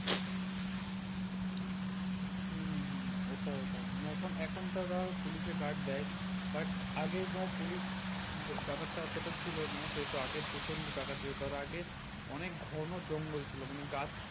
হম হম হম ওটা ওটাই মানে এখন এখন তো তাও পুলিশে guard দেয়। but আগে ধর পুলিশ ব্যা~ব্যাপারটা অতটা ছিল না সেহেতু আগে প্রচন্ড ডাকাতি হতো। আর আগে অনেক ঘন জঙ্গল ছিল। মানে গাছ